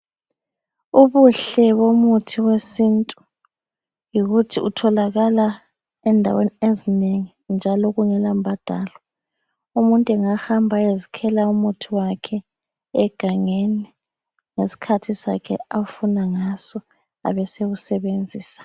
Ubuhle bomuthi wesintu ,yikuthi utholakala endaweni ezinengi njalo kungela mbadalo .Umuntu engahamba ayezikhela umuthi wakhe egangeni ngesikhathi sakhe afuna ngaso ,abe sewusebenzisa.